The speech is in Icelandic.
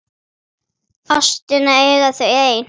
Minn hnefi er sannur.